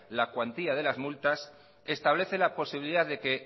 la cuantía de las multas establece la posibilidad de que